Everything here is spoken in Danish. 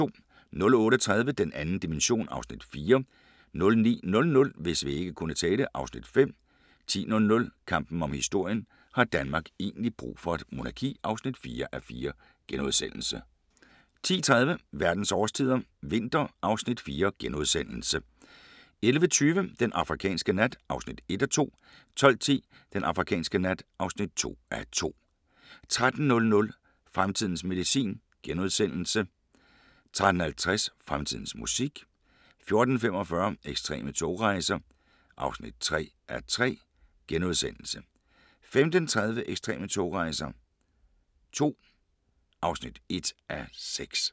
08:30: Den 2. dimension (Afs. 4) 09:00: Hvis vægge kunne tale (Afs. 5) 10:00: Kampen om historien – har Danmark egentlig brug for et monarki? (4:4)* 10:30: Verdens årstider – vinter (Afs. 4)* 11:20: Den afrikanske nat (1:2) 12:10: Den afrikanske nat (2:2) 13:00: Fremtidens medicin * 13:50: Fremtidens musik 14:45: Ekstreme togrejser (3:3)* 15:30: Ekstreme togrejser II (1:6)